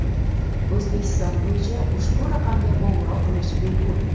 O‘zbekiston bo‘yicha ushbu raqamga qo‘ng‘iroq qilish bepul.